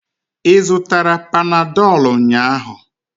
Ị zụtara panadolu ụnyahụ?